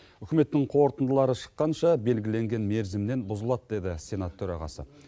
үкіметтің қорытындылары шыққанша белгіленген мерзімнен бұзылады деді сенат төрағасы